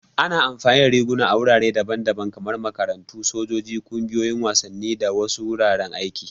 Ana amfani da riguna a wurare daban-daban kamar makarantu, sojoji, ƙungiyoyin wasanni, da wasu wuraren aiki.